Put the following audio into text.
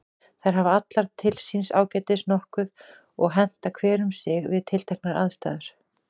Þær hafa allar til síns ágætis nokkuð og henta hver um sig við tilteknar aðstæður.